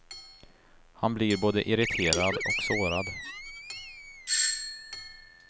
Han blir både irriterad och sårad.